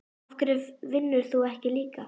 Af hverju vinnur þú ekki líka?